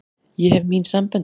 Ég hef mín sambönd.